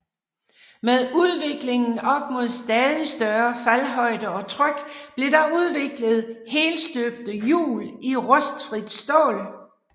Med udviklingen op mod stadig større faldhøjde og tryk blev der udviklet helstøbte hjul i rustfrit stål